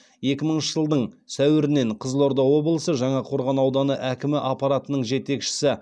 екі мыңыншы жылдың сәуірінен қызылорда облысы жаңақорған ауданы әкімі аппаратының жетекшісі